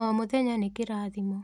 O mũthenya nĩ kĩrathimo.